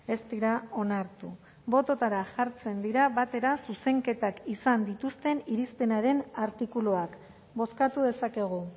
ez dira onartu bototara jartzen dira batera zuzenketak izan dituzten irizpenaren artikuluak bozkatu dezakegu